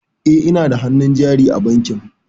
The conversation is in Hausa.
E, ina da hannun jari a bankin.